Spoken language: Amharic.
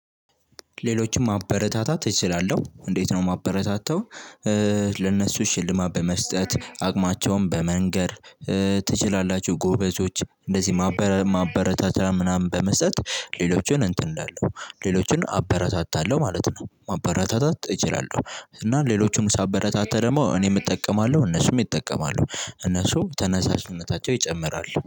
ሌሎችም ማበረታታት እችላለሁ እንዴት ነው ማበረታታው። ለእነሱ ሽልማት በመስጠት አቅማቸውን በመንገር። ትችላላችሁ ጎበዞች እንደዚህ ማበረታቻ ምናምን በመስጠት ሌሎችን እንትን እንላለሁ ሌሎችን አበረታታለሁ ማለት ነው። ማበረታታት እችላለሁ። እና ሌሎቹን ሳበረታታ ደግሞ እኔም እጠቀማለሁ እነሱም ይጠቀማሉ። እነሱ ተነሳሽነታቸው ይጨምራል